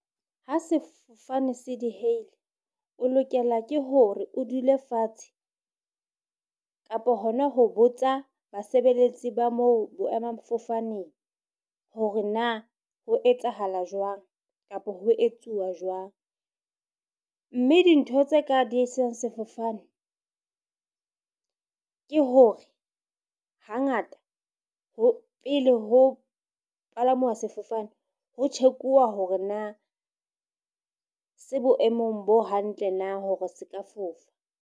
Ha sefofane se diheile, o lokela ke hore o dule fatshe kapa hona ho botsa basebeletsi ba moo boemafofaneng hore na ho etsahala jwang. Kapa ho etsuwa jwang, mme dintho tse ka diehisang sefofane ke hore hangata ho pele ho palamuwa sefofane, ho tjhekuwa hore na se boemong bo hantle na hore se ka fofa.